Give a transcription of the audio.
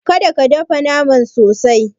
Kada ka dafa naman sosai.